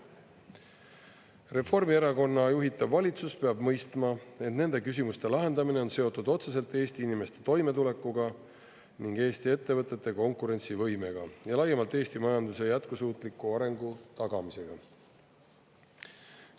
Reformierakonna juhitav valitsus peab mõistma, et nende küsimuste lahendamine on seotud otseselt Eesti inimeste toimetulekuga ning Eesti ettevõtete konkurentsivõimega ja laiemalt Eesti majanduse jätkusuutliku arengu tagamisega.